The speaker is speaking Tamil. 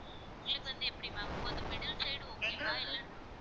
உங்களுக்கு வந்து எப்படி ma'am இப்ப வந்து middle side okay வா இல்லைன்னா